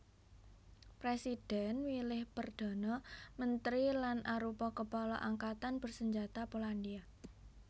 Présidhèn milih Perdhana Mentri lan arupa Kepala Angkatan Bersenjata Polandia